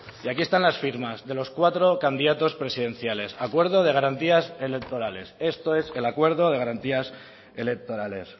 y aquí están las firmas de los cuatro candidatos presidenciales acuerdo de garantías electorales esto es el acuerdo de garantías electorales